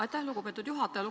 Aitäh, lugupeetud juhataja!